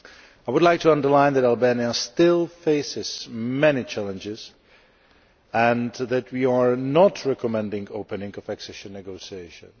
I would like to underline that Albania still faces many challenges and that we are not recommending the opening of accession negotiations.